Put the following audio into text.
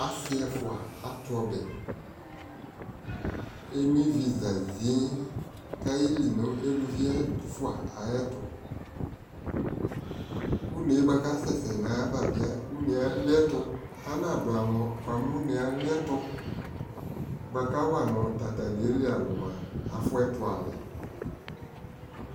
asii ɛƒʋa atʋ ɔbɛ, ɛnɔ ivi zazii kʋ ayɛli nʋ alʋvi ɛƒʋa ayɛtʋ, ʋnɛ bʋakʋ asɛsɛ nʋ ayava bi ʋnɛ aliɛtʋ, ana dʋ amɔ bʋa mʋ ʋnɛ aliɛtʋ bʋakʋ awanʋ tata aliɛ li alʋ mʋa afʋ ɛtʋ ali